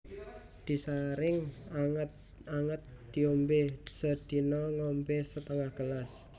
Disaring anget anget diombe sedina ngombe setengah gelas